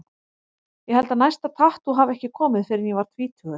Ég held að næsta tattú hafi ekki komið fyrr en ég var tvítugur.